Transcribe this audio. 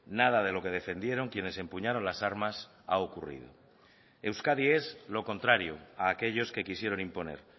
nada de lo que defendieron quienes empuñaron las armas ha ocurrido euskadi es lo contrario a aquellos que quisieron imponer